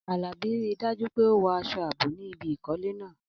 Alabi, rí i dájú pé o wọ aṣọ ààbò ní ibi ìkọ́lé náà.